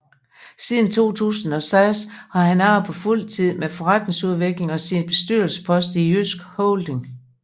Siden 2006 har han arbejdet fuldtid med forretningsudvikling og sine bestyrelsesposter i JYSK Holding